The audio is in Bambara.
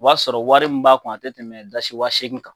O b'a sɔrɔ wari min b'a kun a tɛ tɛmɛ dasi wa seegin kan